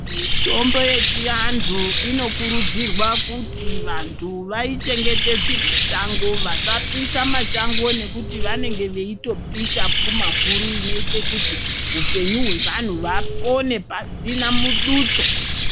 Mitombo yechiantu inokurudzirwa kuti vantu vaichengetedze mashango vasapisha mashango nekuti vanenge vaitopisha puma huru inoita kuti hupenyu hwevantu vapone pasina mudutso.